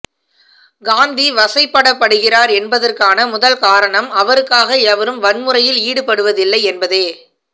காந்தி வசைபாடப்படுகிறார் என்பதற்கான முதல் காரணம் அவருக்காக எவரும் வன்முறையில் ஈடுபடுவதில்லை என்பதே